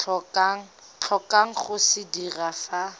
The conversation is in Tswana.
tlhokang go se dira fa